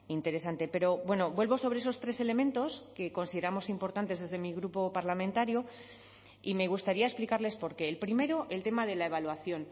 interesante pero bueno vuelvo sobre esos tres elementos que consideramos importantes desde mi grupo parlamentario y me gustaría explicarles por qué el primero el tema de la evaluación